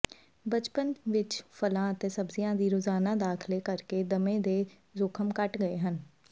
ਬਚਪਨ ਵਿਚ ਫਲਾਂ ਅਤੇ ਸਬਜ਼ੀਆਂ ਦੀ ਰੋਜ਼ਾਨਾ ਦਾਖਲੇ ਕਰਕੇ ਦਮੇ ਦੇ ਜੋਖਮ ਘੱਟ ਗਏ ਹਨ